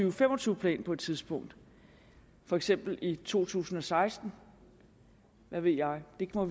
og fem og tyve plan på et tidspunkt for eksempel i to tusind og seksten hvad ved jeg vi må